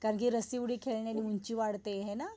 कारण कि रस्सी उडी खेळल्याने उंची वाढते है ना?